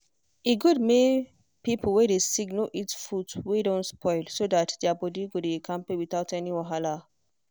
e good make people wey dey sick no eat food wey don spoil so that their body go dey kampe without any wahala.